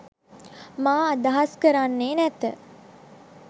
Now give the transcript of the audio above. මා අදහස් කරන්නේ නැත.